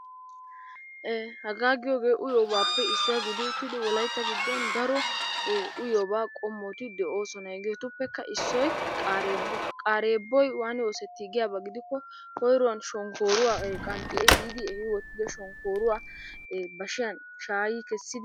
Hagaa giyoogee uyibaappe issuwa gidi uttidi wolayitta giddon daro uyiyoobaa qommoti de"oosona. Hegeetuppekka issoy qaareebbuwa, qaareebboy waani oosettii giyaba gidikko koyiruwan shonkooruwa qanxxi ehiidi ehi wottido shonkooruwaa bashiyan shaayi kessidi...